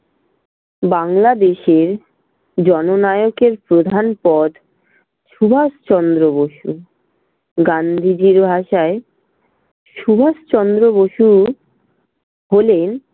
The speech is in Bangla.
বাংলাদেশের জননায়কের প্রধান পদ সুভাষ চন্দ্র বসু। গান্ধীজির ভাষায় সুভাষ চন্দ্র বসু হলেন